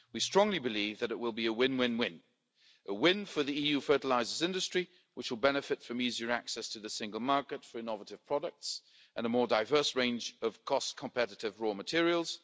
We strongly believe that it will be a win-win-win a win for the EU fertilisers industry, which will benefit from easier access to the single market for innovative products and a more diverse range of cost-competitive raw materials